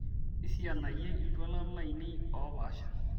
isianayie iltualan lainei oopaasha